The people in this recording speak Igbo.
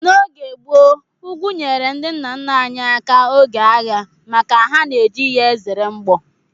N'oge gboo, ugwu nyeere ndị nna nna anyị aka oge agha maka ha na-eji ye ezere mgbọ